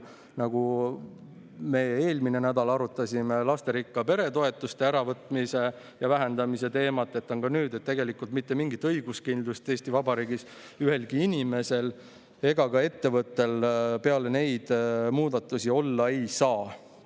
Eelmisel nädalal me arutasime lasterikka pere toetuste äravõtmise ja vähendamise teemat ning ka nüüd tegelikult mitte mingit õiguskindlust Eesti Vabariigis ühelgi inimesel ega ka ettevõttel peale neid muudatusi olla ei saa.